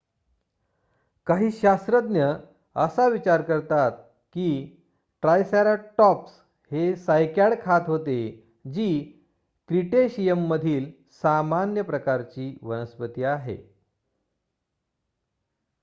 काही शास्त्रज्ञ असा विचार करतात की ट्रायसरॅटॉप्स हे सायकॅड खात होते जी क्रीटेशियमधील सामान्य प्रकारची वनस्पती आहे